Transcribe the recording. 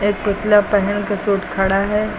एक पुतला पेहन के सूट खड़ा है।